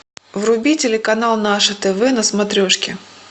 вруби телеканал наше тв на смотрешке